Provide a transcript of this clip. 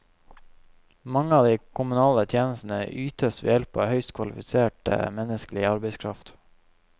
Mange av de kommunale tjenestene ytes ved hjelp av høyt kvalifisert menneskelig arbeidskraft.